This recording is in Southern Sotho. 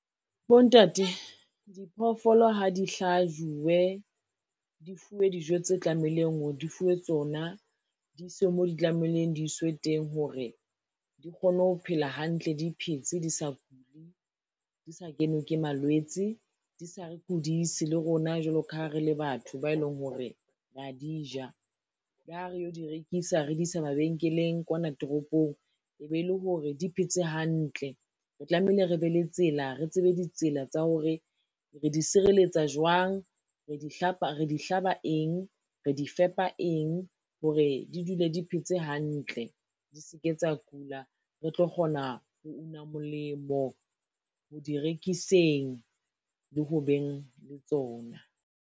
Bontate, diphoofolo ha di hlajuwe, di fuwe dijo tse tlamehileng hore di fuwe tsona, di iswe mo di tlamehileng di iswe teng hore di kgone ho phela hantle di phetse, di sa kule, di sa kenwe ke malwetse, di sa re kudise le rona jwalo ka ha re le batho ba e leng hore ra di ja, la re yo di rekisa re di isa mabenkeleng kwana toropong e be le hore di phetse hantle. Re tlamehile re be le tsela, re tsebe ditsela tsa hore re di sireletsa jwang, re di hlaba eng, re di fepa eng hore di dule di phetse hantle, di se ke tsa kula re tlo kgona ho una molemo ho di rekiseng le ho beng le tsona.